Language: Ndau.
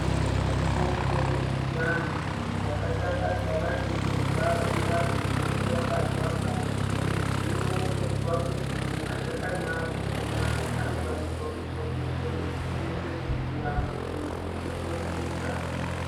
Dziriko mitombo dzechiantu dzatakagara techidya vana vadzo vanenge vabarwa pashi. Hino tozwa kuti nemashakani akhona anokwanisa kutswanywa tswanywa otoiswe mumvura munhu otowedzera ngazi.